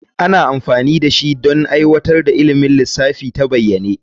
Ana amfani da shi don aiwatar da ilimin lissafi ta bayyane.